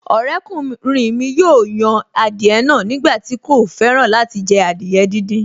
Ọ̀rẹ́kùnrin mi yóò yan adìẹ náà nígbà tí kò fẹ́ràn láti jẹ adìẹ díndín